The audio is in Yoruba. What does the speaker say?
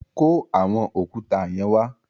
Kó àwọn òkúta yẹn wa.